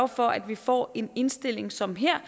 for at vi får en indstilling som her